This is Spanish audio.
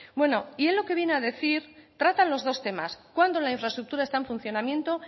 bueno y él lo que viene a decir trata los dos temas cuando la infraestructura está en funcionamiento